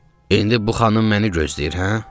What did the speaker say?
"İndi bu xanım məni gözləyir, hə?"